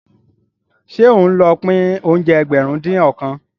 Ṣé òun ló pín oúnjẹ Ẹgbẹ̀rin-dín-ọ̀kan?